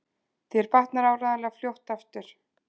Þér batnar áreiðanlega fljótt aftur